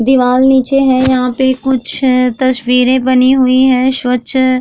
दिवाल नीचे है यहां पर कुछ तस्वीरे बनी हुई है स्वच्छ --